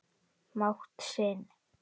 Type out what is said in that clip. mátt sinn.